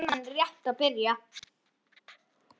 Rimman er rétt að byrja.